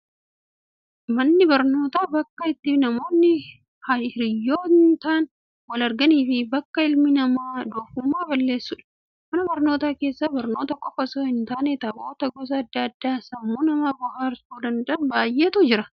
Manni barnootaa, bakka itti namoonni hiriyootaan wal arganii fi bakka ilmi namaa doofummaa balleessudha. Mana barnootaa keessa, barnoota qofa osoon taane, taphoota gosa addaa addaa sammuu nama bohaarsuu danda'an baayyeetu jiru.